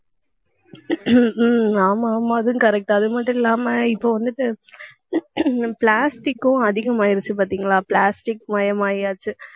ஆமா ஆமா அதுவும் correct அது மட்டும் இல்லாம இப்ப வந்துட்டு, plastic க்கும் அதிகமாயிருச்சு பார்த்தீங்களா plastic மயமாயாச்சு